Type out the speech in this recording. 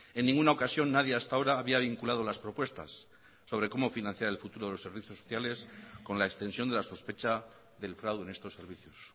en ninguna ocasión nadie hasta ahora había vinculado las propuestas sobre cómo financiar el futuro de los servicios sociales con la extensión de la sospecha del fraude en estos servicios